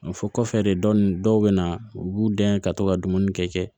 O fɔ kɔfɛ de dɔnni dɔw bɛ na u b'u dɛn ka to ka dumuni kɛ